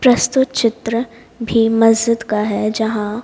प्रस्तुत चित्र भी मस्जिद का है जहां--